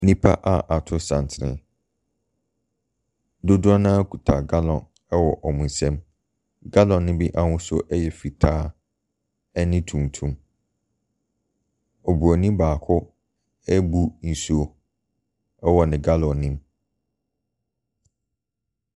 Nnipa a ato santene. Dodoɔ no ara kita gallon wɔ wɔn nsamu. Gallon ne bi ahosuo yɛ fitaa ne tuntum. Obronin baako ɛrebu nsuo wɔ ne gallon ne mu.